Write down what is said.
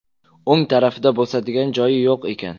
O‘ng tarafida bosadigan joyi yo‘q ekan.